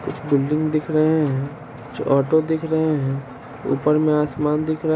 तारे दिख रहे हैं कुछ बिल्डिंग दिख रहे हैं।